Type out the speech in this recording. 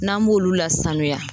N'an b'olu lasanuya